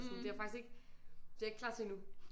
Så det er jeg faktisk ikke det er jeg ikke klar til endnu